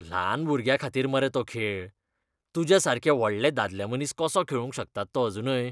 ल्हान भुरग्यांखातीर मरे तो खेळ. तुज्या सारके व्हडले दादलेमनीस कसो खेळूंक शकतात तो अजूनय?